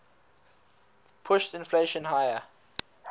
pushed inflation higher